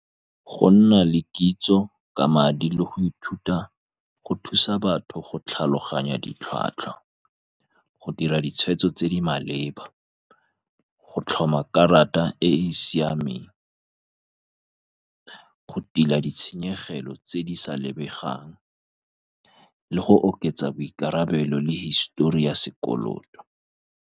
Go nna le kitso ka madi, le go ithuta go thusa batho go tlhaloganya ditlhwatlhwa, go dira ditshweetso tse di maleba, go tlhoma karata e e siameng, go tila ditshenyegelo tse di sa lebegang, le go oketsa boikarabelo le hisitori ya sekoloto.